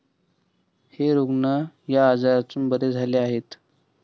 हे रुग्ण या आजारातून बरे झाले आहेत.